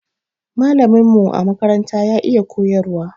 Malamin mu a makaranta ya iya koyarwa